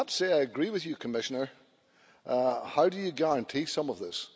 I agree with you, Commissioner how do you guarantee some of this?